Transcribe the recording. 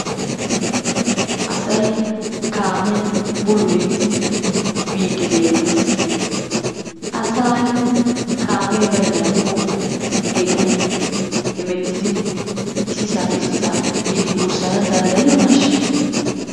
Asy kaamiyan bululiidi biidi beetees. asay kaamee baynaako geddiyan hemettidi issisaappe issisaa biidi danddayiyoonaasha?